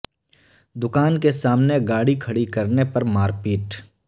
دکان کے سامنے گاڑی کھڑی کرنے پر مار پیٹ